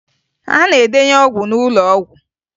A na-edenye ọgwụ n'ụlọ ọgwụ